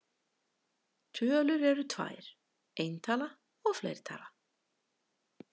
Tölur eru tvær: eintala og fleirtala.